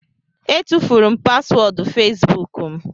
Etufuru m paswọọdụ fesbuk m